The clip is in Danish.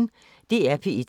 DR P1